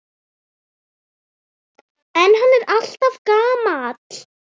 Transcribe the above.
En hann er alltaf gamall.